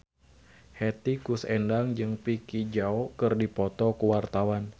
Hetty Koes Endang jeung Vicki Zao keur dipoto ku wartawan